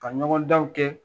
A ɲɔgɔn danw kɛ.